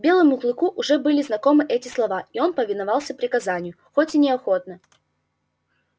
белому клыку уже были знакомы эти слова и он повиновался приказанию хоть и неохотно